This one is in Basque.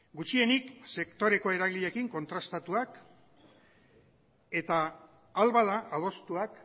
gutxienik sektoreko eragileekin kontrastatuak eta ahal bada adostuak